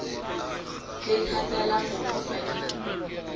le thata la mobu pakeng